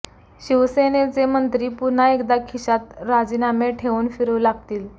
शिवसेनेचे मंत्री पुन्हा एकदा खिशात राजीनामे ठेवून फिरू लागतील